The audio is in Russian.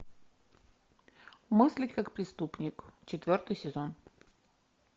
мысли как преступник четвертый сезон